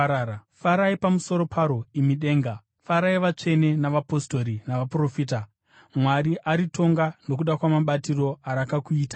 Farai pamusoro paro, imi denga! Farai, vatsvene navapostori navaprofita! Mwari aritonga nokuda kwamabatiro arakakuitai.’ ”